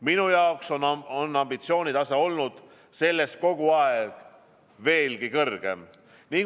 Minu jaoks on ambitsioonitase olnud selles kogu aeg veelgi kõrgem.